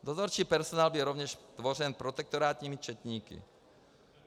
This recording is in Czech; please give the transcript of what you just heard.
Dozorčí personál byl rovněž tvořen protektorátními četníky.